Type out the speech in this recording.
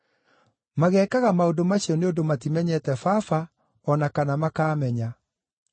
Mageekaga maũndũ macio nĩ ũndũ matimenyete Baba o na kana makaamenya.